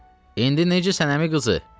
İndi necə sən əmi qızı?